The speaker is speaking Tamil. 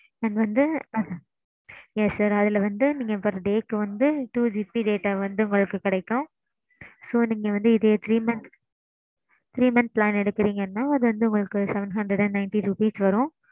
and வந்து ~ yes sir அதுல வந்து நீங்க per day க்கு வந்து two GB data வந்து உங்களுக்கு கிடைக்கும். so நீங்க வந்து இதே three months. three months plan எடுக்குறீங்கனா அது வந்து உங்களுக்கு seven hundred and ninety rupees வரும்.